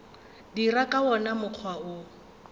dira ka wona mokgwa wo